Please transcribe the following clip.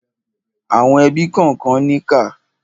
Àwọn ẹbí kànkan níkà.